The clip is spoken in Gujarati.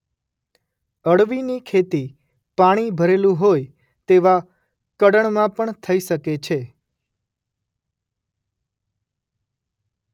અળવીની ખેતી પાણી ભરેલું રહેતું હોય તેવા કળણમાં પણ થઈ શકે છે.